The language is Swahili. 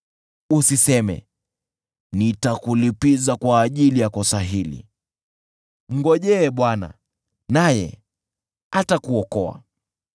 Usiseme, “Nitakulipiza kwa ajili ya kosa hili!” Mngojee Bwana , naye atakuokoa.